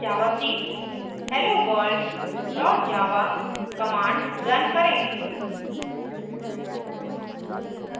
javac helloworld dot java command run करें